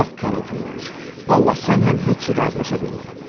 Yox, Karl Fyodoroviç, Vallah sənlə heç cür razılaşa bilmirəm.